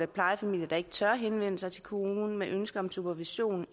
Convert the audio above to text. plejefamilier der ikke tør henvende sig til kommunen med ønsker om supervision